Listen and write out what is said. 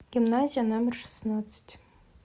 гимназия номер шестнадцать